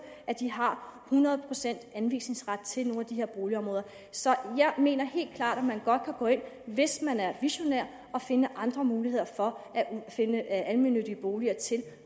at de har hundrede procent anvisningsret til nogle af de her boligområder så jeg mener helt klart at man godt kan gå ind hvis man er visionær og finde andre muligheder for at finde almennyttige boliger til